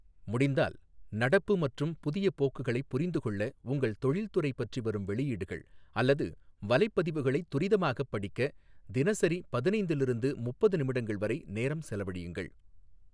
முடிந்தால், நடப்பு மற்றும் புதிய போக்குகளைப் புரிந்துகொள்ள உங்கள் தொழில்துறை பற்றி வரும் வெளியீடுகள் அல்லது வலைப்பதிவுகளைத் துரிதமாகப் படிக்க தினசரி பதினைந்தில் இருந்து முப்பது நிமிடங்கள் வரை நேரம் செலவழியுங்கள்.